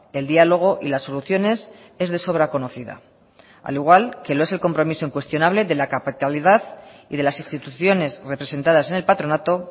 el diálogo y las soluciones es de sobra conocida al igual que lo ese el compromiso incuestionable de la capitalidad y de las instituciones representadas en el patronato